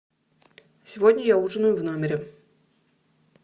сегодня я ужинаю в номере